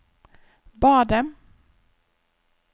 badet